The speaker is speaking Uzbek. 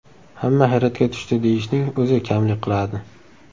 Hamma hayratga tushdi deyishning o‘zi kamlik qiladi.